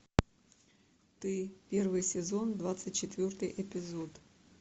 ты первый сезон двадцать четвертый эпизод